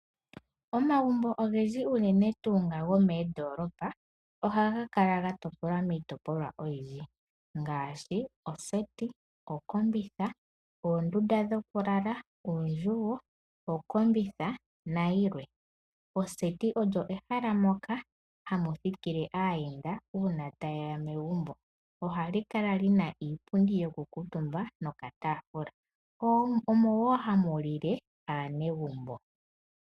Omagumbo ogendji unene tuu nga gomoondoolopa, ohaga kala gatopolwa miitopolwa oyindji ngaashi: oseti, okombitha, oondunda dhokulala, oondjugo, okombitha, na yilwe. Oseti olyo ehala moka hamuthikile aayenda uuna ta yeya megumbo oha likala lina iipundi yoku kuutumba nokataafula omo woo hamu lile aanegumbo.